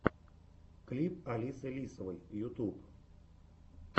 клип алисы лисовой ютуб